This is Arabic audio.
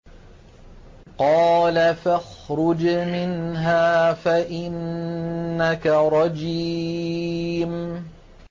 قَالَ فَاخْرُجْ مِنْهَا فَإِنَّكَ رَجِيمٌ